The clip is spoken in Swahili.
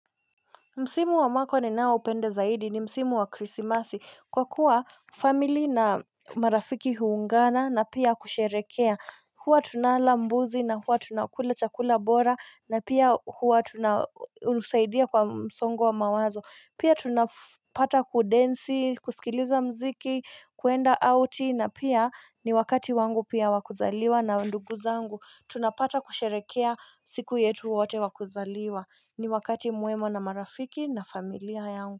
Msimu wa mwaka ninaoupenda zaidi ni msimu wa krisimasi kwa kuwa, family na marafiki huungana na pia kusherekea. Huwa tunala mbuzi na huwa tunakula chakula bora na pia huwa tunasaidia kwa msongo wa mawazo. Pia tunapata kudensi, kusikiliza mziki, kuenda outi na pia ni wakati wangu pia wa kuzaliwa na ndugu zangu. Tunapata kusherehekea siku yetu wote wa kuzaliwa. Ni wakati mwema na marafiki na familia yangu.